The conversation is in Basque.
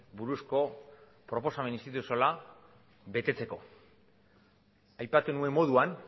buruzko proposamen instituzionala betetzeko aipatu nuen moduan